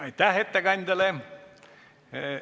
Aitäh ettekandjale!